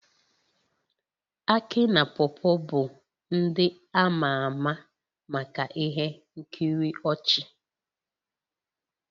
Akị na paw paw bụ ndị a ma ama maka ihe nkiri ọchị